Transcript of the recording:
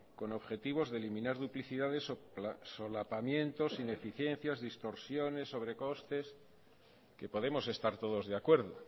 con objetivos de eliminar duplicidades o solapamientos ineficiencias distorsiones sobrecostes que podemos estar todos de acuerdo